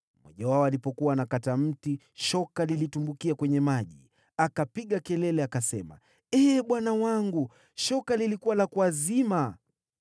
Mmoja wao alipokuwa anakata mti, shoka lilitumbukia kwenye maji. Akalia, “Ee bwana wangu, shoka lilikuwa la kuazima!”